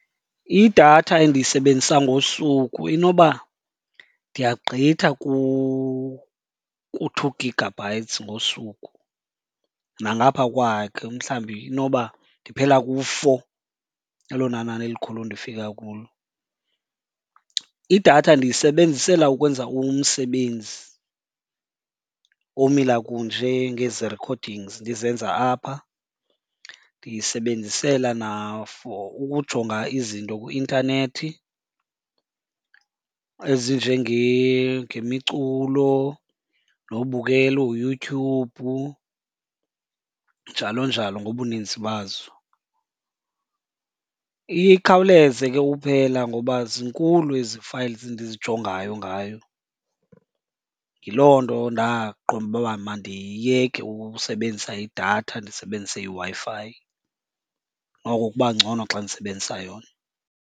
Idatha endiyisebenzisa ngosuku inoba ndiyagqitha ku-two gigabytes ngosuku nangaphaa kwakhe mhlawumbi, inoba ndiphela ku-four elona nani elikhulu ndifika kulo. Idatha ndiyisebenzisela ukwenza umsebenzi omila kunje ngezi recordings ndizenza apha, ndiyisebenzisela na for ukujonga izinto kwi-intanethi ngemiculo nokela uYouTube, njalo njalo ngobuninzi bazo. Iye ikhawuleze ke uphela ngoba zinkulu ezi files ndizijongayo ngayo. Yiloo nto ndaqonda uba mandiyeke usebenzisa idatha ndisebenzise iWi-Fi, noko kuba ngcono xa ndisebenzisa yona.